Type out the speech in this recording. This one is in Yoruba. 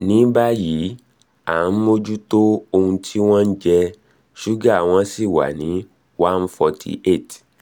ní báyìí à nh mójútó ohun tí wọ́n ń jẹ ṣúgà wọn sì wà ní one forty eight